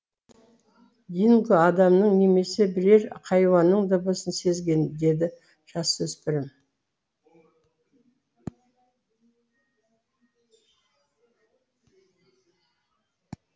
динго адамның немесе бірер хайуанның дыбысын сезген деді жасөспірім